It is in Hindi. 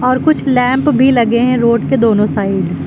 और कुछ लैंप भी लगे हैं रोड के दोनों साइड ।